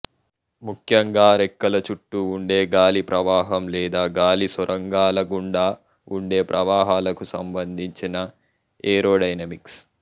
ముఖ్యంగా రెక్కల చుట్టూ ఉండే గాలి ప్రవాహం లేదా గాలి సొరంగాల గుండా ఉండే ప్రవాహాలకు సంబంధించిన ఏరోడైనమిక్స్